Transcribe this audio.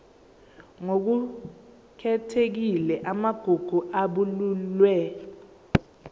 ngokukhethekile amagugu abalulwe